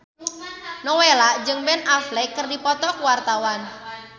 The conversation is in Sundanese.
Nowela jeung Ben Affleck keur dipoto ku wartawan